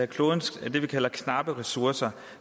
klodens knappe ressourcer